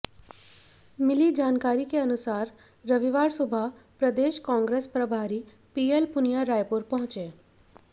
मिली जानकारी के अनुसार रविवार सुबह प्रदेश कांग्रेस प्रभारी पीएल पुनिया रायपुर पहुंचे